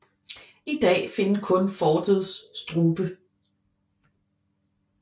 I dag findes kun fortets strube